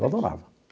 Eu adorava.